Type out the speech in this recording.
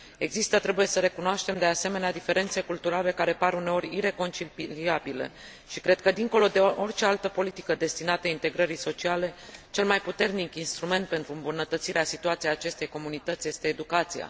Există, trebuie să recunoaștem, de asemenea, diferențe culturale care par, uneori, ireconciliabile și cred că, dincolo de orice altă politică destinată integrării sociale, cel mai puternic instrument pentru îmbunătățirea situației acestei comunități este educația.